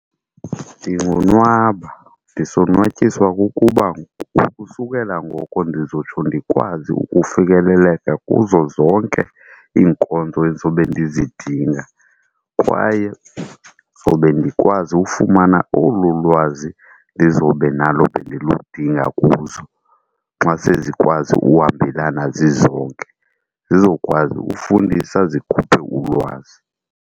Ndingonwaba ndisonwatyiswa kukuba ukusukela ngoko ndizotsho ndikwazi ukufikeleleka kuzo zonke iinkonzo endizobe ndizidinga, kwaye ndizobe ndikwazi ufumana olu lwazi lizobe nalo bendiludinga kuzo xa sezikwazi uhambelana zizonke. Zizokwazi ukufundisa zikhuphe ulwazi.